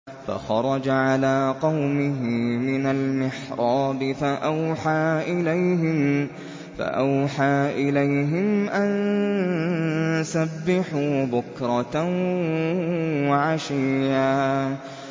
فَخَرَجَ عَلَىٰ قَوْمِهِ مِنَ الْمِحْرَابِ فَأَوْحَىٰ إِلَيْهِمْ أَن سَبِّحُوا بُكْرَةً وَعَشِيًّا